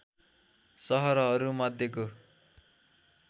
सहरहरू मध्येको